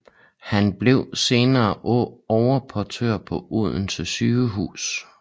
Han blev senere overportør på Odense Sygehus